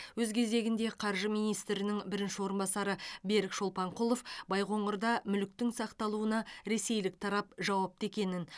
өз кезегінде қаржы министрінің бірінші орынбасары берік шолпанқұлов байқоңырда мүліктің сақталуына ресейлік тарап жауапты екенін